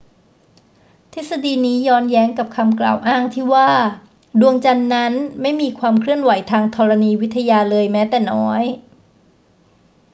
ทฤษฎีนี้ย้อนแย้งกับคำกล่าวอ้างที่ว่า ดวงจันทร์นั้นไม่มีความเคลื่อนไหวทางธรณีวิทยาเลยแม้แต่น้อย